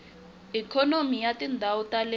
ikhonomi ya tindhawu ta le